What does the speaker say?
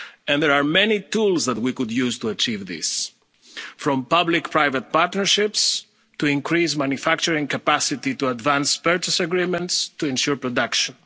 the world. There are many tools that we could use to achieve this from public-private partnerships to increased manufacturing capacity, to advance purchase agreements to ensure